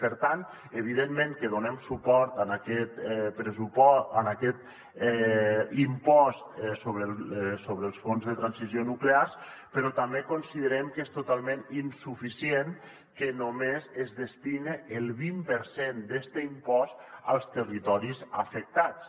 per tant evidentment que donem suport a aquest impost sobre el fons de transició nuclear però també considerem que és totalment insuficient que només es destini el vint per cent d’este impost als territoris afectats